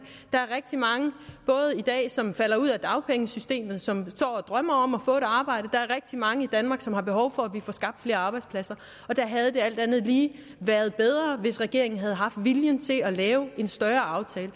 der er rigtig mange i dag som falder ud af dagpengesystemet og som drømmer om at få et arbejde der er rigtig mange i danmark som har behov for at vi får skabt flere arbejdspladser det havde alt andet lige været bedre hvis regeringen havde haft viljen til at lave en større aftale